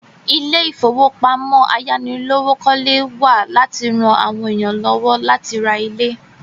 Ilé ìfowópamọ́ ayánilówókọ́lé wà láti ra àwọn èèyàn lọ́wọ́ láti ra ilé